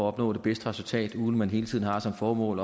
opnå det bedste resultat uden at man hele tiden har som formål